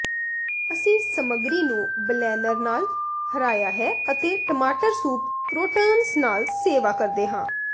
ਅਸੀਂ ਸਮੱਗਰੀ ਨੂੰ ਬਲੈਨਰ ਨਾਲ ਹਰਾਇਆ ਹੈ ਅਤੇ ਟਮਾਟਰ ਸੂਪ ਕਰੌਟਨਸ ਨਾਲ ਸੇਵਾ ਕਰਦੇ ਹਾਂ